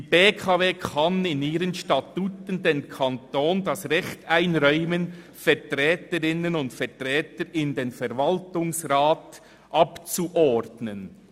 «Die BKW kann in ihren Statuten dem Kanton das Recht einräumen, Vertreterinnen und Vertreter in den Verwaltungsrat abzuordnen.